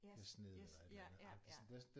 Yes yes ja ja ja